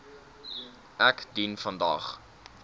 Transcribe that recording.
ek dien vandag